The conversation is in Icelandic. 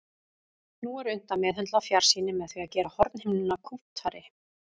Nú er unnt að meðhöndla fjarsýni með því að gera hornhimnuna kúptari.